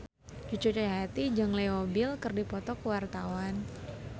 Cucu Cahyati jeung Leo Bill keur dipoto ku wartawan